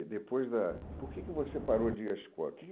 E depois da... Por que que você parou de ir à escola? Que